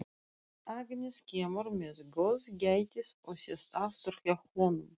Agnes kemur með góðgætið og sest aftur hjá honum.